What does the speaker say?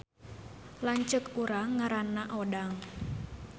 Lanceuk urang ngaranna Odang